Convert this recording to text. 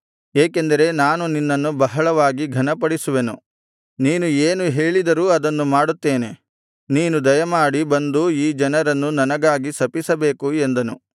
ಏಕೆಂದರೆ ನಾನು ನಿನ್ನನ್ನು ಬಹಳವಾಗಿ ಘನಪಡಿಸುವೆನು ನೀನು ಏನು ಹೇಳಿದರೂ ಅದನ್ನು ಮಾಡುತ್ತೇನೆ ನೀನು ದಯಮಾಡಿ ಬಂದು ಈ ಜನರನ್ನು ನನಗಾಗಿ ಶಪಿಸಬೇಕು ಎಂದನು